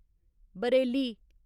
Bareilly